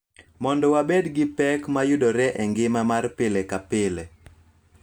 Mondo wabed gi pek ma yudore e ngima mar pile ka pile.